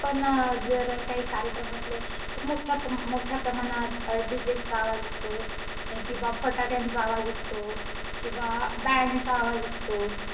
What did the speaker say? पण अं जर काही कार्यक्रम असले, तर मोठ्या प~ मोठ्या प्रमाणात अं DJ चा आवाज असतो, किंवा फटाक्यांचा आवाज असतो किंवा band चा आवाज असतो.